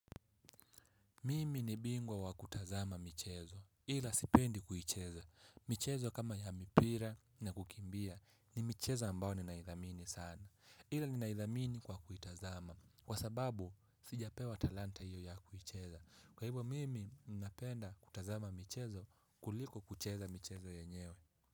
Mimi ni bingwa wa kutazama michezo. Ila sipendi kuicheza. Michezo kama ya mipira na kukimbia ni michezo ambayo ninaidhamini sana. Ila ni naidhamini kwa kuitazama. Kwa sababu, sijapewa talanta hiyo ya kuicheza. Kwa hivo mimi napenda kutazama michezo kuliko kucheza michezo yenyewe.